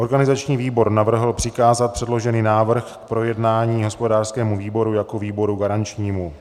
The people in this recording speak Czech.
Organizační výbor navrhl přikázat předložený návrh k projednání hospodářskému výboru jako výboru garančnímu.